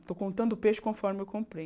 Estou contando o peixe conforme eu comprei.